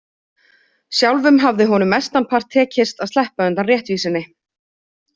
Sjálfum hafði honum mestanpart tekist að sleppa undan réttvísinni.